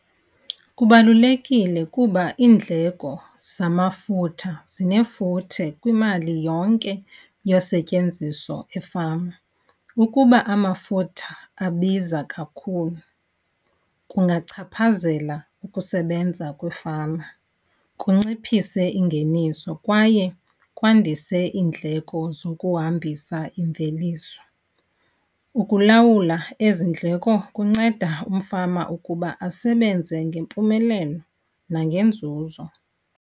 Kubalulekile kuba iindleko zamafutha zinefuthe kwimali yonke yosetyenziso efama. Ukuba amafutha abiza kakhulu kungachaphazela ukusebenza kwiifama, kunciphise ingeniso kwaye kwandise iindleko zokuhambisa imveliso. Ukulawula ezi ndleko kunceda umfama ukuba asebenze ngempumelelo nangenzuzo.